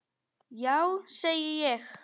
Já, segi ég.